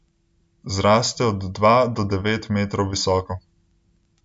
Zraste od dva do devet metrov visoko.